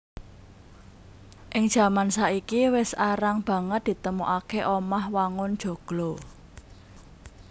Ing jaman saiki wis arang banget ditemokaké omah wangun joglo